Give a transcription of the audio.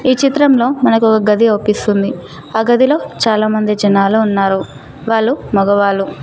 ఈ చిత్రంలో మనకు ఒక గది అగుపిస్తుంది ఆ గదిలో చాలామంది జనాలు ఉన్నారు వాళ్ళు మగవాళ్ళు.